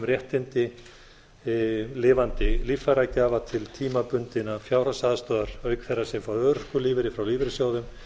um réttindi lifandi líffæragjafa til tímabundinnar fjárhagsaðstoðar auk þeirra sem fá örorkulífeyri frá lífeyrissjóðum